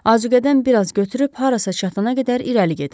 Azuqədən bir az götürüb harasa çatana qədər irəli gedirəm.